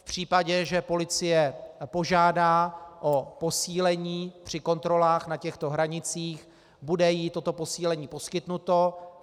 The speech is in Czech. V případě, že policie požádá o posílení při kontrolách na těchto hranicích, bude jí toto posílení poskytnuto.